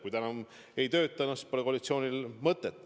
Kui ta enam ei tööta, siis pole koalitsioonil mõtet.